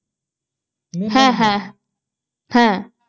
হ্যাঁ